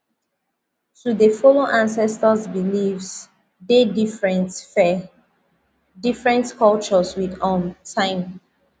to dey follow ancestors beliefs deh different fir different culture with um time